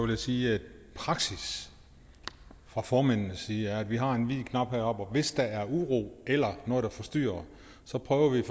jeg sige at praksis fra formændenes side er at vi har en hvid knap heroppe og hvis der er uro eller noget der forstyrrer så prøver vi i